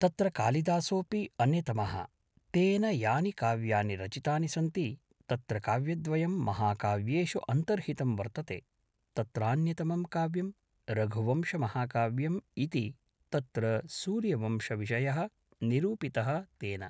तत्र कालिदासोपि अन्यतमः तेन यानि काव्यानि रचितानि सन्ति तत्र काव्यद्वयं महाकाव्येषु अन्तर्हितं वर्तते तत्रान्यतमं काव्यं रघुवंशमहाकाव्यं इति तत्र सूर्यवंशविषयः निरूपितः तेन